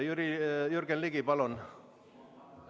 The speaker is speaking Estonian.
Jürgen Ligi, palun!